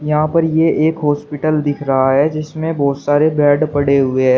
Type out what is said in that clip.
यहां पर ये एक हॉस्पिटल दिख रहा है जिसमें बहुत सारे बेड पड़े हुए हैं।